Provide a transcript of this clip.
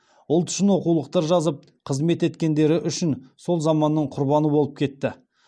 ұлт үшін оқулықтар жазып қызмет еткендері үшін сол заманның құрбаны болып кетті